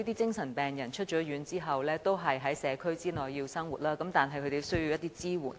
精神病人出院後，要在社區生活，他們因而需要一些支援。